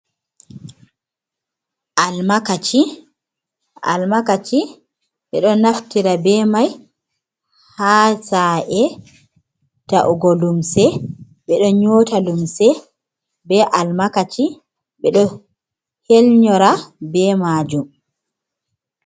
Almakaci: Almakaci ɓeɗo naftira be mai ha sa’e ta’ugo lumse ɓeɗo nyoota lumse be almakaci ɓeɗo helnyora be majum.